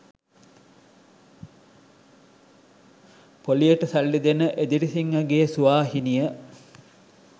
පොලියට සල්ලි දෙන එදිරිසිංහගේ සුවාහිනිය